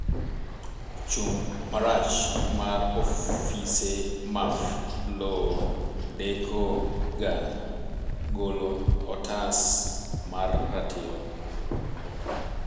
chung marach mar ofise maf lowo deko ga golo otas mar ratiro